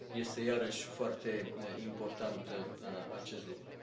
Este, iarăși, foarte important acest lucru.